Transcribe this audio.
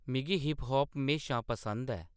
मिगी hip hop म्हेशा पसंद ऐ